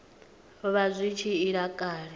vha zwi tshi ila kale